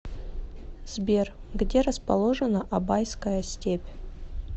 сбер где расположена абайская степь